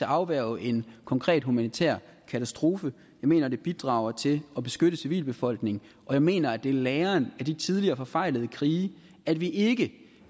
afværge en konkret humanitær katastrofe jeg mener at det bidrager til at beskytte civilbefolkningen og jeg mener at det er læren af de tidligere forfejlede krige at vi ikke